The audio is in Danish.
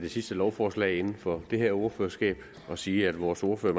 det sidste lovforslag inden for det her ordførerskab og sige at vores ordfører